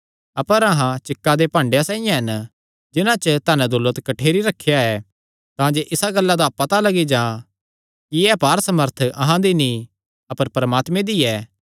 अपर अहां चिक्का दे भाडेयां साइआं हन जिन्हां च धनदौलत कठ्ठेरी करी रखेया ऐ तांजे इसा गल्ला दा पता लग्गी जां कि एह़ अपार सामर्थ अहां दी नीं अपर परमात्मे दी ऐ